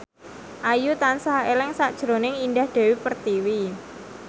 Ayu tansah eling sakjroning Indah Dewi Pertiwi